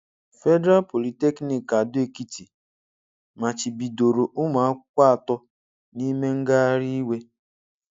Federal Polytechnic Ado Ekiti machibidoro ụmụ akwụkwọ otu n'ime ngagharị iwe.